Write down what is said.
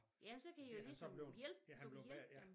Jamen så kan i jo ligesom hjælp du kan hjælpe dem